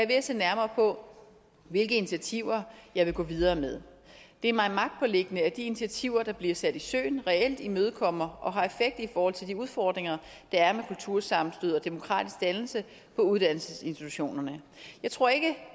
ved at se nærmere på hvilke initiativer jeg vil gå videre med det er mig magtpåliggende at de initiativer der bliver sat i søen reelt imødekommer og har effekt i forhold til de udfordringer der er med kultursammenstød og demokratisk dannelse på uddannelsesinstitutionerne jeg tror ikke